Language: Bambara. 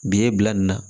Bi ye bila nin na